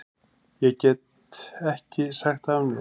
Ég get ekki sagt af mér.